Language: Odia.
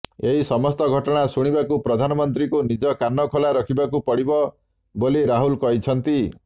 ଏହି ସମସ୍ତ ଘଟଣା ଶୁଣିବାକୁ ପ୍ରଧାନମନ୍ତ୍ରୀଙ୍କୁ ନିଜ କାନ ଖୋଲା ରଖିବାକୁ ପଡିବ ବୋଲି ରାହୁଲ କହିଛନ୍ତି